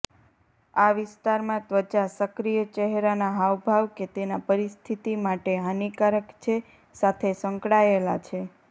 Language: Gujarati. આ વિસ્તારમાં ત્વચા સક્રિય ચહેરાના હાવભાવ કે તેના પરિસ્થિતિ માટે હાનિકારક છે સાથે સંકળાયેલા છે